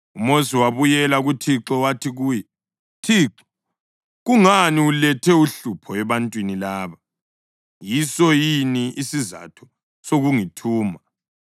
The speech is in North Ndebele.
UMosi wabuyela kuThixo wathi kuye, “ Thixo, kungani ulethe uhlupho ebantwini laba? Yiso yini isizatho sokungithuma.